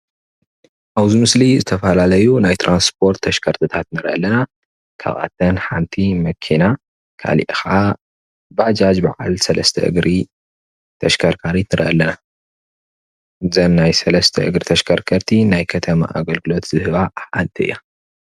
አብዚ ምስሊ ዝተፈላለዩ ናይ ትራንስፖርት ተሽከርከርትታት ንርኢ አለና። ካብአተን ሓንቲ መኪና ካሊእ ከዓ ባጃጅ በዓል ሰለስተ እግሪ ተሽከርካሪት ንርኢ አለና። እዘን ናይ ሰለስተ እግሪ ተሽከርከርቲ ናይ ከተማ አገልግሎት ዝህባ ሓንቲ እያ።